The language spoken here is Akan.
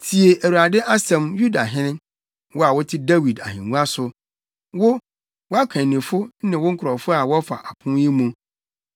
‘Tie Awurade asɛm, Yudahene, wo a wote Dawid ahengua so, wo, wʼakannifo ne wo nkurɔfo a wɔfa apon yi mu.